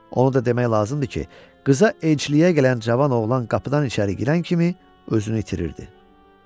Onu da demək lazımdır ki, qıza elçiliyə gələn cavan oğlan qapıdan içəri girən kimi özünü itirirdi.